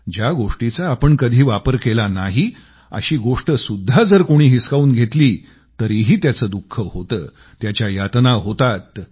ज्या गोष्टीचा आपण कधी वापर केला नाही अशी गोष्टसुद्धा जर कोणी हिसकावून घेतली तरीही त्याचं दुःख होतं त्याच्या यातना होतात